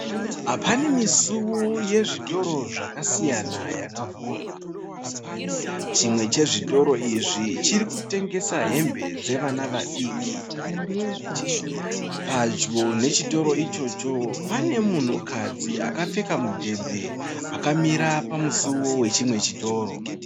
Pane misuwo yezvitoro zvakasiyana yakavhurwa, chimwe chezvitoro izvi chiri kutengesa hembe dzevana vadiki. Padyo nechitoro ichocho pane munhukadzi akapfeka mudhebhe akamira pamusiwo wechimwe chitoro .